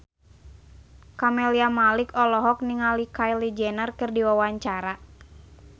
Camelia Malik olohok ningali Kylie Jenner keur diwawancara